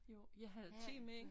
Jo jeg havde te med ind